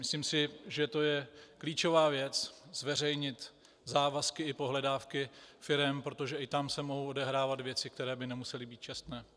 Myslím si, že to je klíčová věc zveřejnit závazky i pohledávky firem, protože i tam se mohou odehrávat věci, které by nemusely být čestné.